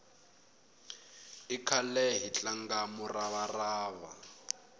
i khale hi tlanga murava rava